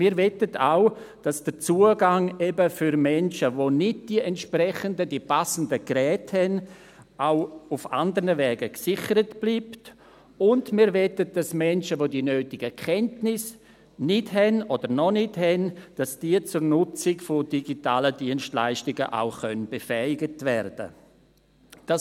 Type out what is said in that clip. Wir möchten auch, dass der Zugang eben für Menschen, die nicht die entsprechenden, die passenden Geräte haben, auch auf anderen Wegen gesichert bleibt, und wir möchten, dass Menschen, die nicht oder noch nicht über die nötigen Kenntnisse verfügen, zur Nutzung digitaler Dienstleistungen des Kantons befähigt werden können.